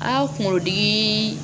An ka kungodi